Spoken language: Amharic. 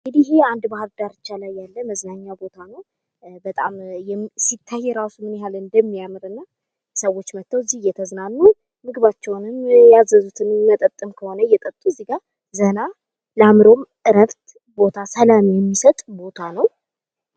እንግዲህ ይሄ ባህር ዳርቻ ላይ ያለ የመዝናኛ ቦታ ነው ፤ በጣም ሲታይ ራሱ ምን ያህል እንደሚያምር እና ሰዎች እዚጋ መተው እየተዝናኑ የሚያርፉበት ቦታ ነው ፤ ለአእምሮ ሰላም የሚሰጥ ቦታ ነው።